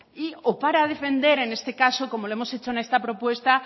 o para defender en este caso como lo hemos hecho en esta propuesta